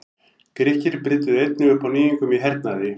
Grikkir brydduðu einnig upp á nýjungum í hernaði.